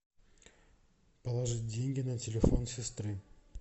положить деньги на телефон сестры